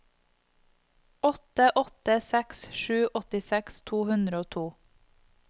åtte åtte seks sju åttiseks to hundre og to